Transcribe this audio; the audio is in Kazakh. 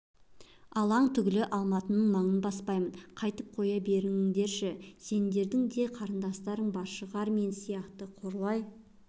алаң түгілі алматының маңын баспаймын қайтып қоя беріңдерші сендердің де қарындастарың бар шығар мен сияқты қорлай